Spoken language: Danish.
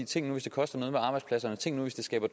tænk nu hvis det koster arbejdspladser tænk nu hvis det